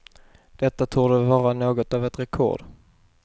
Detta torde vara något av ett rekord.